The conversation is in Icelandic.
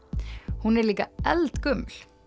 hún er líka eldgömul